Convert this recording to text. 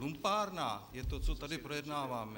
Lumpárna je to, co tady projednáváme.